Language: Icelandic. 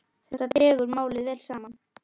Þetta dregur málið vel saman.